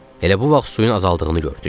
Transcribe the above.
Elə bu vaxt suyun azaldığını gördük.